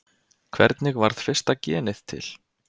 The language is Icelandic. Hvernig varð fyrsta genið til?